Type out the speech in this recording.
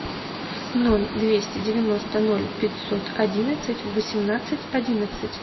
ноль двести девяносто ноль пятьсот одинадцать восемнадцать одиннадцать